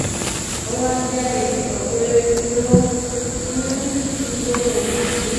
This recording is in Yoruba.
ówá jẹ́ etí kan péré ló um ngbé ohùn sí